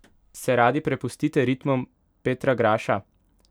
Se radi prepustite ritmom Petra Graša?